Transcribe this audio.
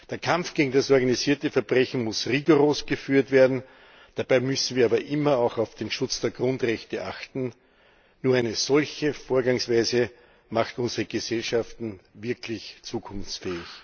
Der Kampf gegen das organisierte Verbrechen muss rigoros geführt werden, dabei müssen wir aber immer auch auf den Schutz der Grundrechte achten. Nur eine solche Vorgangsweise macht unsere Gesellschaften wirklich zukunftsfähig.